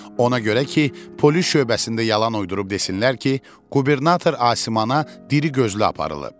Ona görə ki, polis şöbəsində yalan uydurub desinlər ki, qubernator Asimana diri gözlü aparılıb.